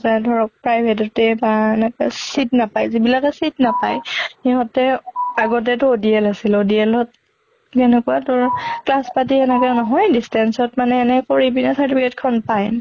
যায় ধৰক private তে বা এনেকে seat নাপায়, যিবিলাকে seat নাপায় হিহঁতে আগতে টো DL আছিলোঁ। DL ত কেনেকুৱা তোৰ class পাতি এনেকে নহয় distance ত মানে এনে কৰি পিনে certificate খন পায়